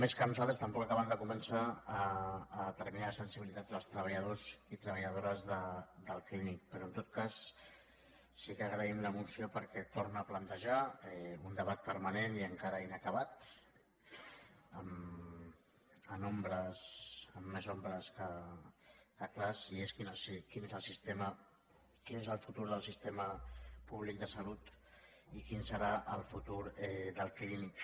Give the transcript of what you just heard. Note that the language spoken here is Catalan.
més que a nosaltres tampoc acaben de convèncer determinades sensibilitats dels treballadors i treballadores del clínic però en tot cas sí que agraïm la moció perquè torna a plantejar un debat permanent i encara inacabat amb més ombres que clars i és quin és el futur del sistema públic de salut i quin serà el futur del clínic